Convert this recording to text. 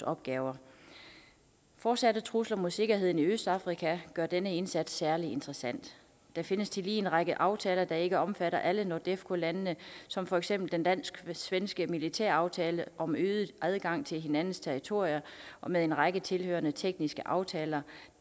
opgaver fortsatte trusler mod sikkerheden i østafrika gør denne indsats særlig interessant der findes tillige en række aftaler der ikke omfatter alle nordefco landene som for eksempel den dansk svenske militæraftale om øget adgang til hinandens territorier og med en række tilhørende tekniske aftaler